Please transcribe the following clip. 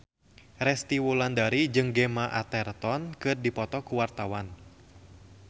Resty Wulandari jeung Gemma Arterton keur dipoto ku wartawan